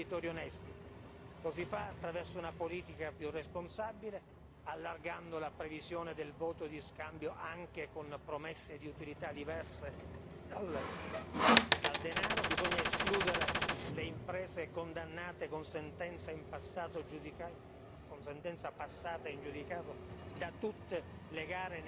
Lo si fa attraverso una politica più responsabile, allargando la previsione del voto di scambio anche con promesse di utilità diverse dal denaro. Bisogna escludere le imprese condannate con sentenze passate in giudicato da tutte le gare pubbliche negli Stati membri.